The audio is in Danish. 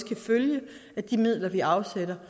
kan følge de midler vi afsætter